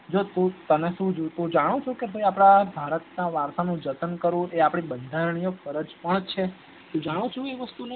જો તને શું તને શું જોવતું તમે જાણો છો કે અપડા ભારતના વારસા નું જતન કરવું એ એ આપણી બંધારણીય ફરજ છે તું જાણું છુ એ વસ્તુ ને